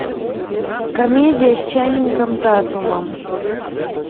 комедия с ченнингом татумом